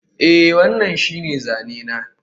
Eh, wannan shine zane na